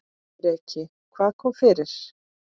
Breki: Hvað kom fyrir?